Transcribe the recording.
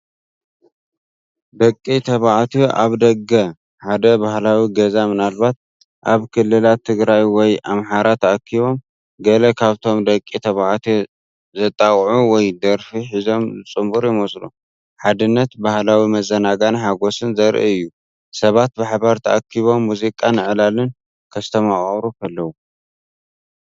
ደቂ ተባዕትዮ ኣብ ደገ ሓደ ባህላዊ ገዛ ምናልባት ኣብ ክልላት ትግራይ ወይ ኣምሓራ ተኣኪቦም። ገለ ካብቶም ደቂ ተባዕትዮ ዘጣቕዑ ወይ ደርፊ ሒዞም ዝጽንበሩ ይመስሉ። ሓድነት፣ ባህላዊ መዘናግዕን ሓጎስን ዘርኢ እዩ፣ ሰባት ብሓባር ተኣኪቦም ሙዚቃን ዕላልን ከስተማቕሩ ከለዉ።